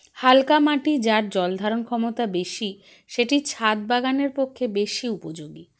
হালকা মাটি যার জলধারণ ক্ষমতা বেশি সেটি ছাদ বাগানের পক্ষে বেশি উপযোগী